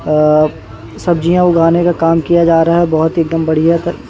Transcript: अ सब्जियां उगाने का काम किया जा रहा है बहुत एकदम बढ़िया तक--